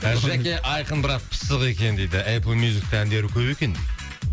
жәке айқын бірақ пысық екен дейді эплмюзикте әндері көп екен